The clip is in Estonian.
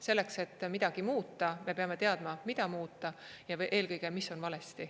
Selleks et midagi muuta, me peame teadma, mida muuta, ja eelkõige, mis on valesti.